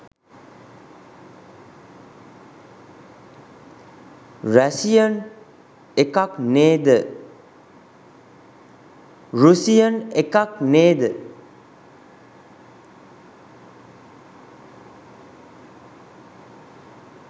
Russian එකක් නේද?